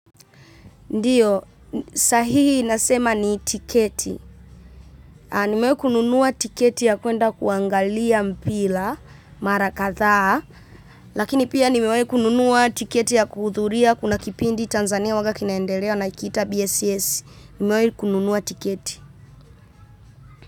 Ndiyo, sahihi nasema ni tiketi. Nimewai kununua tiketi ya kwenda kuangalia mpira, mara kadhaa. Lakini pia nimewai kununua ticketi ya kuhudhuria kuna kipindi Tanzania huwa kinaendelea kinaitwa bss. Nimewe kununua tiketi.